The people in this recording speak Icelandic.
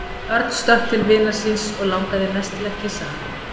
Örn stökk til vinar síns og langaði mest til að kyssa hann.